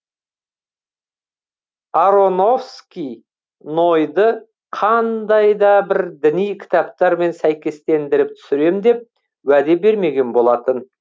аронофски нойды қандай да бір діни кітаптармен сәйкестендіріп түсірем деп уәде бермеген болатын